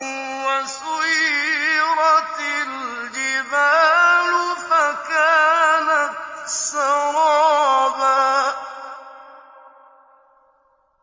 وَسُيِّرَتِ الْجِبَالُ فَكَانَتْ سَرَابًا